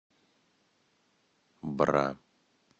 бра